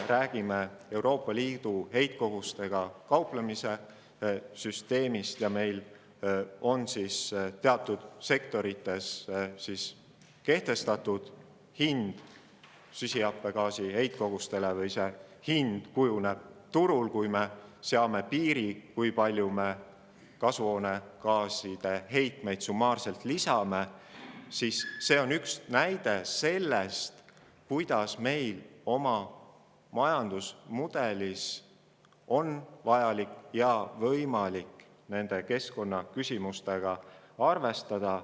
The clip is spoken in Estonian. Euroopa Liidu heitkogustega kauplemise süsteem ‒ see, et meil on teatud sektorites kehtestatud hind süsihappegaasi heitkogustele või, õigemini, see hind kujuneb turul, kui me seame piiri, kui palju me kasvuhoonegaaside heitmeid summaarselt lubame ‒ on üks näide sellest, kuidas meil on oma majandusmudelis võimalik nende keskkonnaküsimustega arvestada.